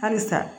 Halisa